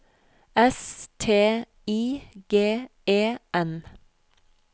S T I G E N